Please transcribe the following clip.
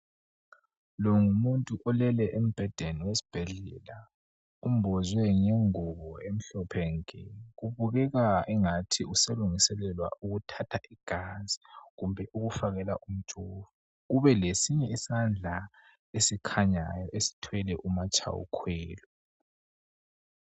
longumuntu olele embhedeni wesibhedlela umbhathe ingubo emhlophe nke kubukeka engathi uselungiselela ukuthatha igazi kumbe ukufakela umjoko kube lesinye isandla esikhanyayo esithwele umatshaya ukhwelo